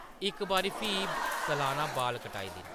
इक बारी फ्ही सलाना बाल-कटाई दिन